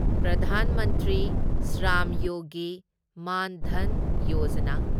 Pradhan Mantri Shram Yogi Maandhan Yojana